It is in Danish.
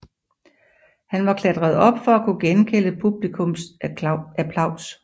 Han var klatret op for at kunne gengælde publikums applaus